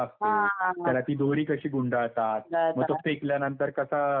त्याला ती दोरी कशी गुंडाळतात. मग तो फेकल्यानंतर कसा फिरतो.